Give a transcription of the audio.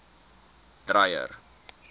dreyer